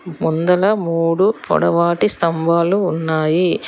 ముందల మూడు పొడవాటి స్తంబాలు ఉన్నాయి.